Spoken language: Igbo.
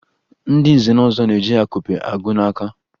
Ndị nze na ọzọ na-eji akụpe agụ n'aka